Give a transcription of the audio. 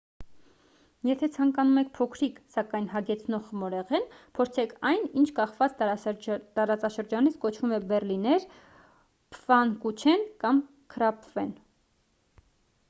եթե ցանկանում եք փոքրիկ սակայն հագեցնող խմորեղեն փորձեք այն ինչ կախված տարածաշրջանից կոչվում է բեռլիներ փֆանկուչեն կամ քրափֆեն